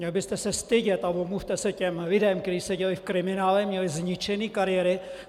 Měl byste se stydět a omluvte se těm lidem, kteří seděli v kriminále, měli zničené kariéry!